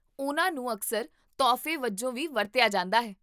ਉਹਨਾਂ ਨੂੰ ਅਕਸਰ ਤੋਹਫ਼ੇ ਵਜੋਂ ਵੀ ਵਰਤਿਆ ਜਾਂਦਾ ਹੈ